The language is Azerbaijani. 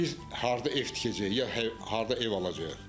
Biz harda ev tikəcəyik ya harda ev alacağıq?